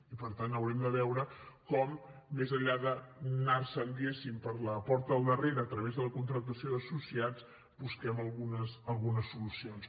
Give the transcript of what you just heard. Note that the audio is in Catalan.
i per tant haurem de veure com més enllà d’anar se’n diguéssim per la porta del darrere a través de la contractació d’associats busquem algunes solucions